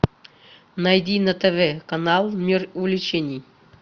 найди на тв канал мир увлечений